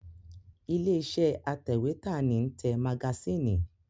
Ilé iṣẹ́ atẹ̀wẹ́tà ní ń tẹ magasínì